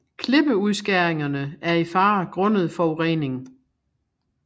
Klippeudskæringerne er i fare grundet forurening